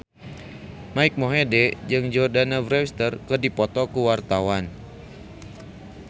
Mike Mohede jeung Jordana Brewster keur dipoto ku wartawan